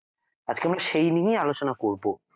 আজকে আমি সেই নিয়ে আলোচনা করব